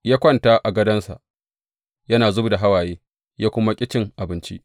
Ya kwanta a gadonsa yana zub da hawaye, ya kuma ƙi cin abinci.